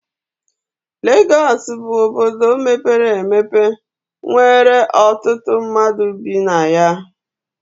Legọs bụ obodo mepere emepe nwere ọtụtụ mmadụ bi na ya.